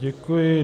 Děkuji.